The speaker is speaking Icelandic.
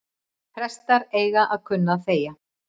Prestar eiga að kunna að þegja